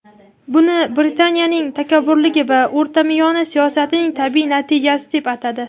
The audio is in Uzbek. buni "Britaniyaning takabburligi va o‘rtamiyona siyosati"ning tabiiy natijasi deb atadi.